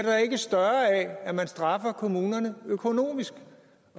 større af at man straffer kommunerne økonomisk